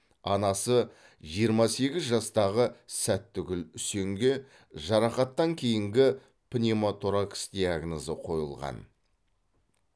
анасы жиырма сегіз жастағы сәттігүл үсенге жарақаттан кейінгі пневмоторакс диагнозы қойылған